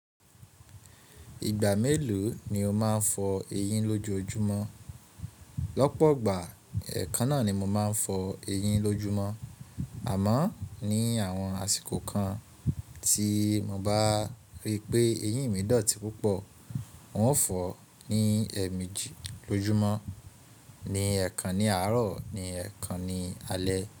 Ìgbà mélòó ni o máà ń fọ eyín lójojumọ́? Lọ́pọ̀gbà ẹ̀ẹ̀kan náà ni mo máà ń fọ eyín lójúmọ́. Àmọ́ ní àwọn àsìkò kan tí mo bá rí pé eyín mi dọ̀tí púpọ̀, n o fọ̀ ni ẹ́ẹ̀mejì lójúmọ́; ní ẹẹ̀kan ní àárọ̀ ní ẹẹ̀kan ní alé.